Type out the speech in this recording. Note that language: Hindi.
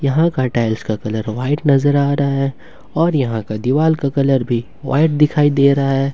यहां का टाइल्स का कलर व्हाइट नजर आ रहा है और यहां का दीवाल का कलर भी दिखाई दे रहा है।